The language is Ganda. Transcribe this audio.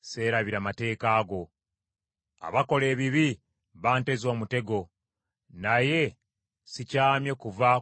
Abakola ebibi banteze omutego, naye sikyamye kuva ku ebyo bye walagira.